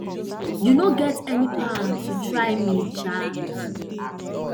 you no get any power to try me um